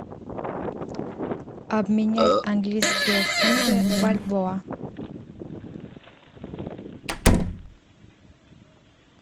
обменять английские фунты в бальбоа